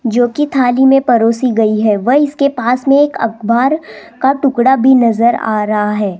जोकि थाली में परोसी गई है व इसके पास में एक अखबार का टुकड़ा भी नजर आ रहा है।